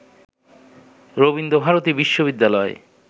রবীন্দ্র ভারতী বিশ্ববিদ্যালয়ে